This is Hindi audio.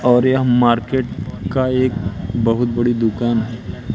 और यह मार्केट का एक बहुत बड़ी दुकान है।